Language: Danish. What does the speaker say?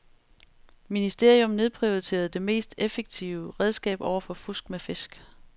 Ministerium nedprioriterede det mest effektive redskab over for fusk med fisk.